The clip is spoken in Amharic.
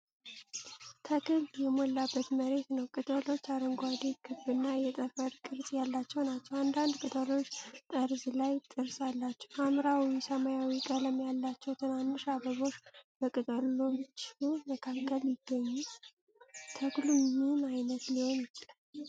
ተክል የሞላበት መሬት ነው። ቅጠሎቹ አረንጓዴ፣ ክብ እና የጠፈረ ቅርጽ ያላቸው ናቸው። አንዳንድ ቅጠሎች ጠርዝ ላይ ጥርስ አላቸው። ሐምራዊ ሰማያዊ ቀለም ያላቸው ትናንሽ አበቦች በቅጠሎቹ መካከል ይገኙ። ተክሉ ምን ዓይነት ሊሆን ይችላል?